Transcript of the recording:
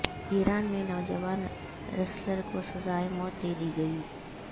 ایران میں نوجوان ریسلر کو سزائے موت دے دی گئی